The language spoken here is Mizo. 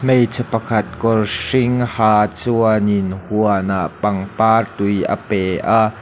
hmeichhe pakhat kawr hring ha chuanin huanah pangpar tui a pe a.